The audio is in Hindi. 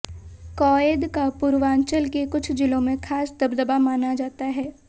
कौएद का पूर्वांचल के कुछ जिलों में खासा दबदबा माना जाता है